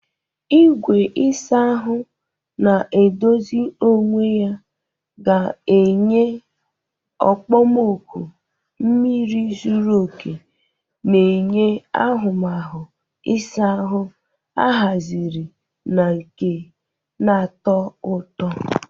Igwe ịsa ahụ na-edozi onwe ya ga-enye okpomọkụ mmiri zuru oke, na-enye ahụmahụ ịsa ahụ ahaziri na nke na-atọ ụtọ.